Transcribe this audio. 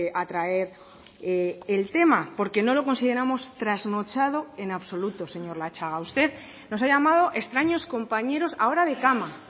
a traer el tema porque no lo consideramos trasnochado en absoluto señor latxaga usted nos ha llamado extraños compañeros ahora de cama